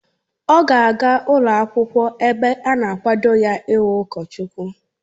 Ọ ga aga ụlọ akwụkwọ ebe a na-akwado ha ị wu ụkọchukwu